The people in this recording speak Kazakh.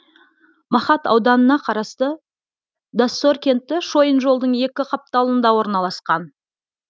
мақат ауданына қарасты доссор кенті шойын жолдың екі қапталында орналасқан